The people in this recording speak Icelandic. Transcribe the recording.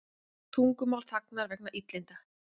Tungumál þagnar vegna illinda